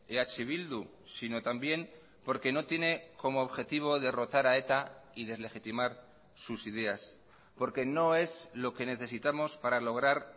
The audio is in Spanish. eh bildu sino también porque no tiene como objetivo derrotar a eta y deslegitimar sus ideas porque no es lo que necesitamos para lograr